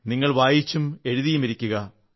നിങ്ങൾ വായിച്ചും എഴുതിയുമിരിക്കുക